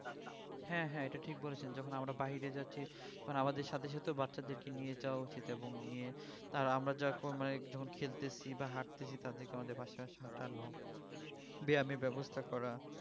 হ্যাঁ হ্যাঁ এটা ঠিক বলছেন যখন আমরা বাইরে যাচ্ছি তখন আমাদের সাথে সাথে বাচ্চাদেরকে নিয়ে যাওয়া উচিত এবং নিয়ে আর আমরা যখন মানে খেলতেছি বা হাটতেছি তাদেরকে আমাদের পাশে পাশে হাঁটানো ব্যায়ামের ব্যবস্থা করা